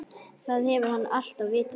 Það hefur hann alltaf vitað.